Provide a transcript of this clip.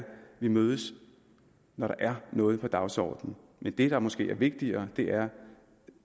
vi mødes når der er noget på dagsordenen men det der måske er vigtigere er at